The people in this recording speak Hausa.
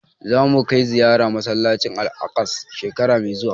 Za mu kai ziyara masallacin Al'aqsa shekara mai zuwa